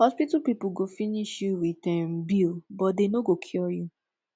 hospital people go finish you with um bill but dey no go cure you